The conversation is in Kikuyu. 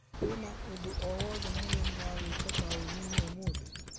Kwĩna ũndũ o wothe mũgeni wa gwĩka taũni-inĩ ũmũthĩ ?